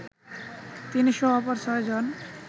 তিনিসহ অপর ছয়জন